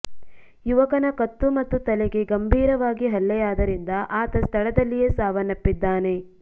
ಯವಕನ ಕತ್ತು ಮತ್ತು ತಲೆಗೆ ಗಂಭೀರವಾಗಿ ಹಲ್ಲೆಯಾದರಿಂದ ಆತ ಸ್ಥಳದಲ್ಲಿಯೇ ಸಾವನ್ನಪ್ಪಿದ್ದಾನೆ